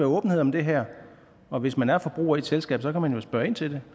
åbenhed om det her og hvis man er forbruger i et selskab kan man jo spørge ind til det